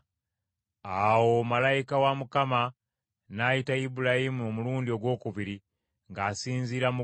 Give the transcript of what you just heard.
Awo malayika wa Mukama n’ayita Ibulayimu omulundi ogwokubiri ng’asinziira mu ggulu,